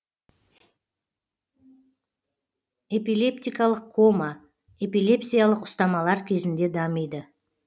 эпилептикалық кома эпилепсиялық ұстамалар кезінде дамиды